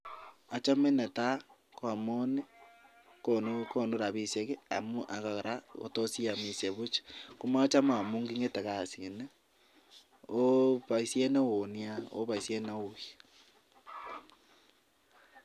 Achome netai amun konu rabishek akoraa kotos iyamishe Buch komachame amun kingete kasit niton akobaishet neonia